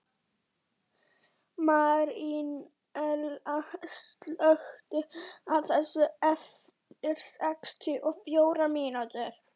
Marínella, slökktu á þessu eftir sextíu og fjórar mínútur.